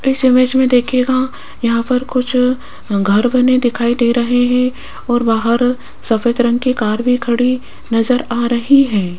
इस इमेज मे देखियेगा यहां पर कुछ घर बने दिखाई दे रहे है और बाहर सफेद रंग की कार भी खड़ी नजर आ रही है।